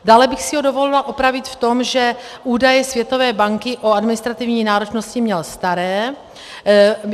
Dále bych si ho dovolila opravit v tom, že údaje Světové banky o administrativní náročnosti měl staré.